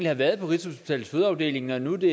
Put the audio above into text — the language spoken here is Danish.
har været på rigshospitalets fødeafdeling når nu det